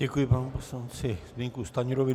Děkuji panu poslanci Zbyňku Stanjurovi.